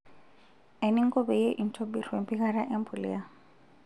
Eninko peyie intobir wempikata empuliya.